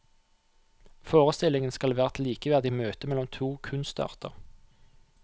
Forestillingen skal være et likeverdig møte mellom to kunstarter.